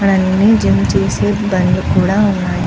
హా అన్నీ జిమ్ చేసి బండులు కూడా ఉంది.